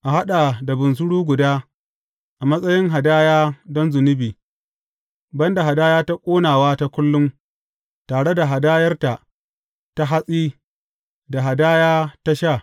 A haɗa da bunsuru guda a matsayin hadaya don zunubi, ban da hadaya ta ƙonawa ta kullum tare da hadayarta ta hatsi da hadaya ta sha.